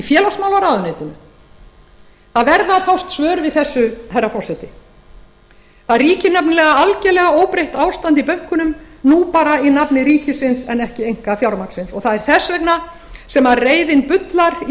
félagsmálaráðuneytinu það verða að fást svör við þessu herra forseti það ríkir nefnilega algerlega óbreytt ástand í bönkunum nú bara í nafni ríkisins en ekki einkafjármagnsins og það er þess vegna sem beðið bullar í